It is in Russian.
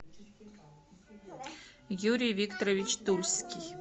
юрий викторович тульский